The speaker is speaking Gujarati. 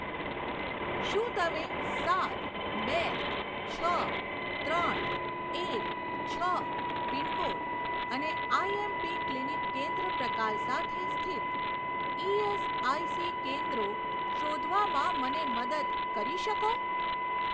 શું તમે સાત બે છ ત્રણ એક છ પિનકોડ અને આઈએમપી ક્લિનિક કેન્દ્ર પ્રકાર સાથે સ્થિત ઇએસઆઇસી કેન્દ્રો શોધવામાં મને મદદ કરી શકો?